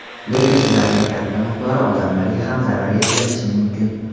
Lekin ularning katta miqdori odamlarga ham zarar yetkazishi mumkin.